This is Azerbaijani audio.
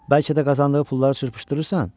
Bəlkə də qazandığı pulları çırpışdırırsan?